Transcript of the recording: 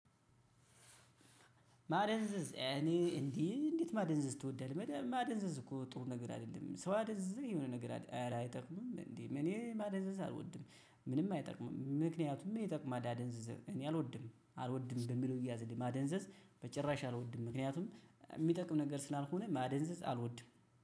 ማደንዘዝ እኔ እንዴ እንዴት ማደንዘዝ ትወዳለህ? ማደንዘዝ እኮ ጥሩ ነገር አይደለም። ሰው አደንዝዘህ የሆነ ነገር አድ ኧረ አይጠቅምም እንዴ እኔ ማደንዘዝ አልወድም። ምንም አይጠቅምም። ምክንያቱም ይጠቅማል አደንዝዘ እኔ አልወድም አልወድም በሚለው ይያዝልኝ ማደንዘዝ በጭራሽ አልወድም። ምክንያቱም የሚጠቅም ነገር ስላልሆነ ማደንዘዝ አልወድም።